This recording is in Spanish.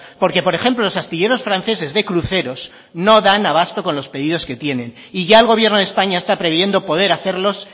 porque por ejemplo los astilleros franceses de cruceros no dan a basto con los pedidos que tienen y ya el gobierno de españa está previendo poder hacerlos